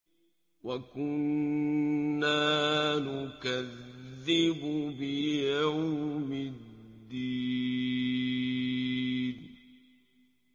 وَكُنَّا نُكَذِّبُ بِيَوْمِ الدِّينِ